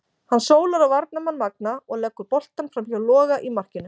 Hann sólar á varnarmann Magna og leggur boltann framhjá Loga í markinu.